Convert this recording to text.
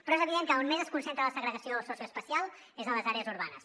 però és evident que on més es concentra la segregació socioespacial és en les àrees urbanes